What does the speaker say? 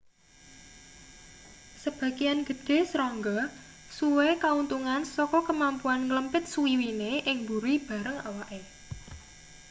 sebagean gedhe serangga suwe kauntungan saka kemampuan nglempit swiwine ing buri bareng awake